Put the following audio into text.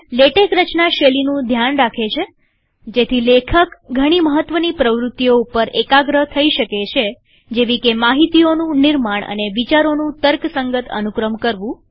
LaTeX રચના શૈલીનું ધ્યાન રાખે છેજેથી લેખક ઘણી મહત્વની પ્રવૃત્તિઓ ઉપર એકાગ્ર થઇ શકે છેજેવીકે માહિતીઓનું નિર્માણ અને વિચારોનું તર્કસંગત અનુક્રમ કરવું